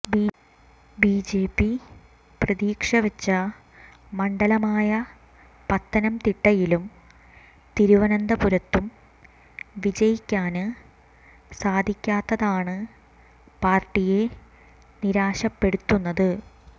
BJP പ്രതീക്ഷ വെച്ച മണ്ഡലമായ പത്തനംതിട്ടയിലും തിരുവനന്തപുരത്തും വിജയിക്കാന് സാധിക്കാത്തതാണ് പാര്ട്ടിയെ നിരാശപ്പെടുത്തുന്നത്